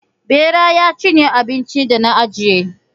Ɓera ya cinye abincin da na ajiye.